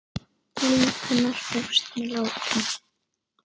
Líf hennar hófst með látum.